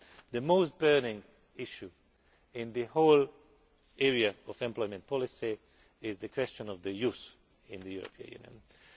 the most burning issue in the whole area of employment policy is the question of youth in the European Union.